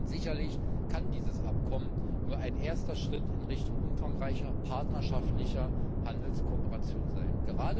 Sicherlich kann dieses Abkommen nur ein erster Schritt in Richtung umfangreicher, partnerschaftlicher Handelskooperation sein.